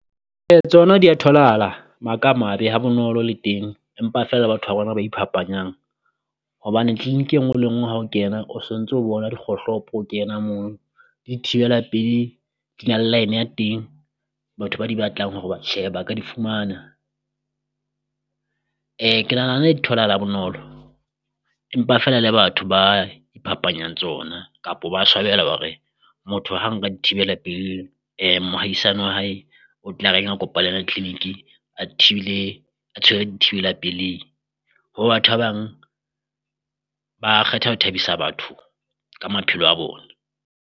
E tsona di ya tholahala maka a mabe ha bonolo le teng empa feela batho ba rona ba iphapanyang, hobane clinic e nngwe le e nngwe ha o kena o so ntso o bona dikgohlopo o kena moo. Le di thibela pelehi di na line ya teng batho ba di batlang hore ba tjhe ba ka di fumana, ke nahana tholahala ha bonolo empa feela le batho ba iphapanyang tsona kapo ba swabela hore motho ha nka di thibela pelehi mohaisane wa hae o tla reng ha kopanela clinic-e a thibile a tshwere di thibela pelehi. Ho batho ba bang ba kgetha ho thabisa batho ka maphelo a bone.